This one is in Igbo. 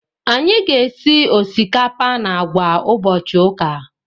Anyị ga- esi osikapa na àgwà ụbọchị ụka.